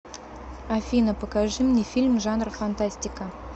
афина покажи мне фильм жанр фантастика